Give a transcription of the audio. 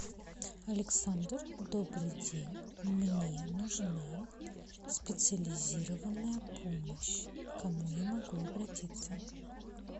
александр добрый день мне нужна специализированная помощь к кому я могу обратиться